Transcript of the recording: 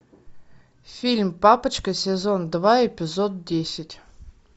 фильм папочка сезон два эпизод десять